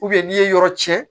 n'i ye yɔrɔ cɛn